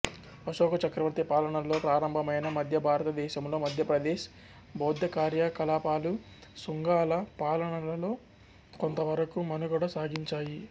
అశోక చక్రవర్తి పాలనలో ప్రారంభమైన మధ్య భారతదేశంలో మధ్యప్రదేశ్ బౌద్ధ కార్యకలాపాలు శుంగాల పాలనలో కొంతవరకు మనుగడ సాగించాయి